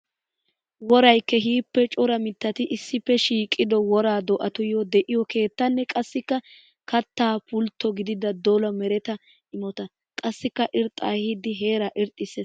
Woray keehippe cora mittatti issippe shiiqqiddo wora do'attuyo de'iyo keettanne qassikka katta pultto gididda dolla meretta imotta. Qassikka irxxa ehiidi heera irxxisees.